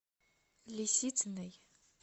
лисицыной